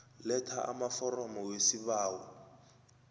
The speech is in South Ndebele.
letha amaforomo wesibawo